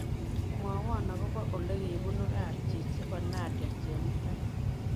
Mwawon agoboo olegibunuu kabchii chebo nadia chemutai